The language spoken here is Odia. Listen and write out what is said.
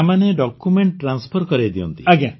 ତାମାନେ ଡକ୍ୟୁମେଣ୍ଟ ଟ୍ରାନ୍ସଫର କରେଇ ଦିଅନ୍ତି